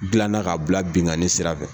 gilanna ka bila binnkanni sira fɛ.